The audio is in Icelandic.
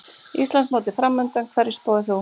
Íslandsmótið framundan, hverju spáir þú?